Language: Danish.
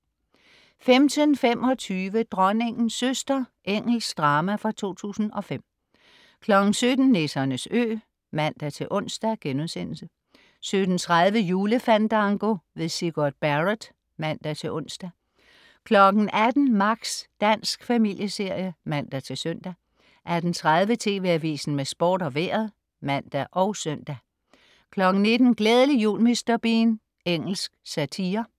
15.25 Dronningens søster. Engelsk drama fra 2005 17.00 Nissernes Ø (man-ons)* 17.30 Julefandango. Sigurd Barrett (man-ons) 18.00 Max. Dansk familieserie (man-søn) 18.30 TV Avisen med Sport og Vejret (man og søn) 19.00 Glædelig jul Mr. Bean. Engelsk satire